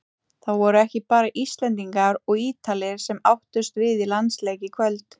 Það voru ekki bara Íslendingar og Ítalir sem áttust við í landsleik í kvöld.